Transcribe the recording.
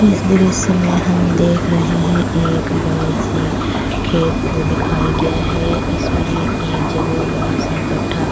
इस दृश्य में हम देख रहै हैं एक बडई सी खेत को दिखाई गया है इसमें एक जगह बड़ा-सा गड्ढा --